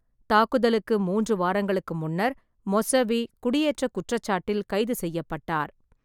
தாக்குதலுக்கு மூன்று வாரங்களுக்கு முன்னர் மொஸ்ஸவீ குடியேற்றக் குற்றச்சாட்டில் கைது செய்யப்பட்டார்.